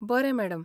बरें मॅडम.